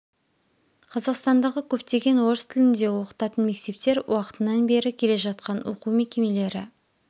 қазақстандағы көптеген орыс тілінде оқытатын мектептер уақытынан бері келе жатқан оқу мекемелері